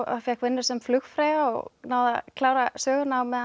fékk vinnu sem flugfreyja og náði að klára söguna á meðan